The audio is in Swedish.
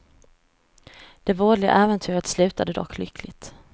Det vådliga äventyret slutade dock lyckligt.